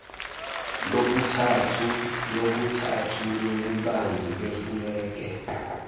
yokuthathu yobubanzi befulege